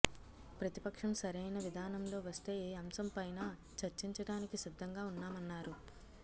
ప్రతిపక్షం సరైన విధానంలో వస్తే ఏ అంశంపైనా చర్చించడానికి సిద్ధంగా ఉన్నామన్నారు